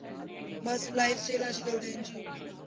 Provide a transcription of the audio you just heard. ਬਸ lifestyle ਅੱਜ ਕੱਲ੍ਹ ਦਾ ਇੰਞ ਹੀ ਹੋ ਗਿਆ ਨਾ।